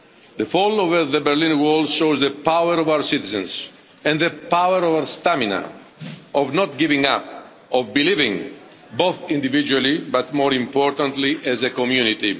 The fall of the Berlin Wall shows the power of our citizens and the power of our stamina, of not giving up, of believing both individually but, more importantly, as a community.